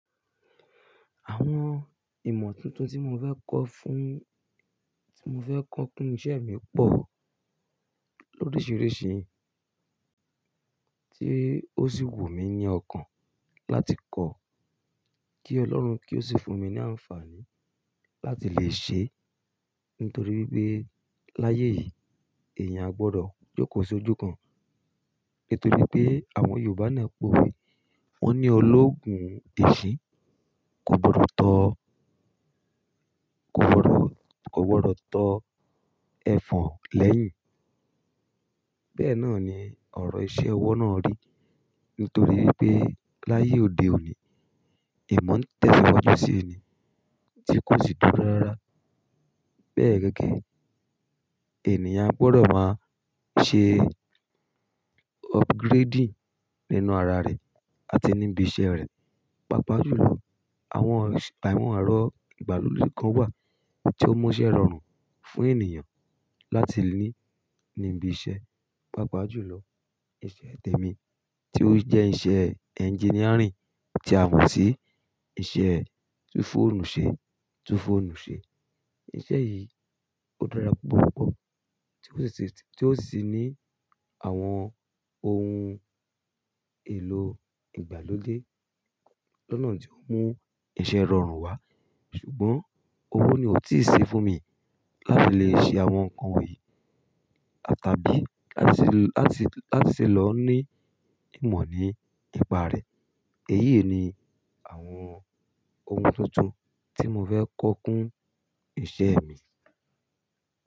Àwọn ìmọ̀ tuntun tí mo fẹ́ kọ fún, tí mo fẹ́ kọ fún iṣẹ́ mi pọ̀ lóriṣiriṣi, tí ó sì wù mí ní ọkàn láti kọ kí Ọlọ́run kí ó sì fún mi ní àǹfààní láti lè ṣe. Nítoríwipé láyé yìí èèyàn ò gbọdọ̀ jókòó sójú kan, nítorí pé àwọn Yorùbá náà pòwe wọ́n ní ológun èṣin kò gbọdọ̀ tọ, kò gbọdọ̀, kò gbọdọ̀ tọ ẹ̀fọ̀n lẹ́yìn. Bẹ́ẹ̀ náà ni ọ̀rọ̀ iṣẹ́ ọwọ́ náà rí. Nítorí pé láyé òde òní ìmọ̀ ń tẹ̀síwájú sí tí kò sì dúró rára. Bẹ́ẹ̀ gẹ́gẹ́ ènìyàn a gbọdọ̀ máa ṣe upgrading nínú ara rẹ̀ àti níbi iṣẹ́ rẹ̀. Pápá jù lọ àwọn èrọ̀ ìgbàlódé kan wà tí ó mú iṣẹ́ rọrùn fún ènìyàn láti ní níbi iṣẹ́. Pápá jù lọ iṣẹ́ tèmi tí ó jẹ́ iṣẹ́ engineering tí a mò sí iṣẹ́ tú fóọ̀nù ṣe, tú fóọ̀nù ṣe. Iṣẹ́ yìí ó dára púpọ̀ púpọ̀ tí ó sì ní àwọn ohun èlò ìgbàlódé lọ́nà tí ó mú iṣẹ́ rọrùn wá. Ṣùgbọ́n owó ni ò tíì ṣí fún mi láti lè ṣe àwọn nǹkan yìí tàbí láti, láti lọ ní ìmọ̀ ní ipa rẹ̀. Èyí ni àwọn ohun tuntun tí mo fẹ́ kọ fún iṣẹ́ mi.